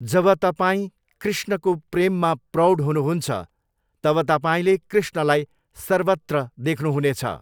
जब तपाई कृष्णको प्रेममा प्रौढ हुनुहुन्छ, तब तपाईँले कृष्णलाई सर्वत्र देख्नुहुनेछ।